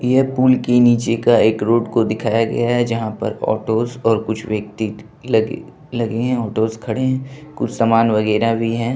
ये पूल के नीचे का एक रोड को दिखाया गया है जहाँ पर ऑटोज और कुछ व्यक्ति लगे लगे हैं ऑटोज खड़े हैं कुछ सामान वगेरा भी हैं।